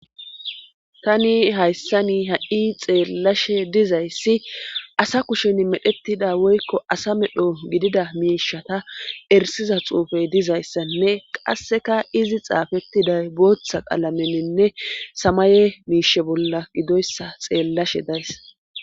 Tani hayssani ha7i xeellashe dizayssi asa kushen medhettida woykko asa medho gidida miishata ersiza xuufey dizayssanne qasseka izi xaafettiday booththa qalamenenne samaye miishe bolla gidoyssa xeellashe days.